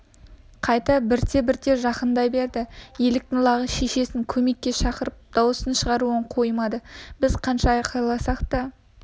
қайта бірте-бірте жақындай берді еліктің лағы шешесін көмекке шақырып дауыс шығаруын қоймады біз қанша айқайласақ та